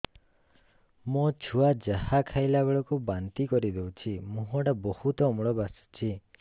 ମୋ ଛୁଆ ଯାହା ଖାଇଲା ବେଳକୁ ବାନ୍ତି କରିଦଉଛି ମୁହଁ ଟା ବହୁତ ଅମ୍ଳ ବାସୁଛି